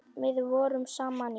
Við vorum saman í